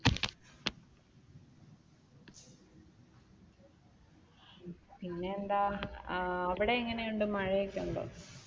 പിന്നെയെന്താ അവിടെയെങ്ങനെയുണ്ട് മഴയൊക്കെ ഉണ്ടോ?